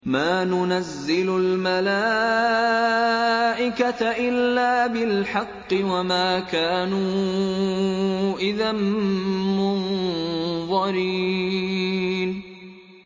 مَا نُنَزِّلُ الْمَلَائِكَةَ إِلَّا بِالْحَقِّ وَمَا كَانُوا إِذًا مُّنظَرِينَ